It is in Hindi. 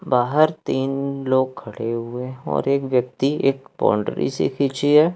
बाहर तीन लोग खड़े हुए हैं और एक व्यक्ति एक बाउंड्री सी खिंची है।